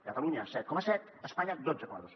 catalunya set coma set espanya dotze coma dos